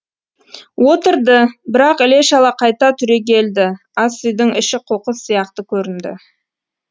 отырды бірақ іле шала қайта түрегелді ас үйдің іші қоқыс сияқты көрінді